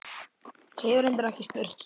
Hef reyndar ekki spurt.